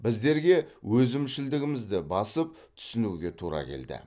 біздерге өзімшілдігімізді басып түсінуге тура келді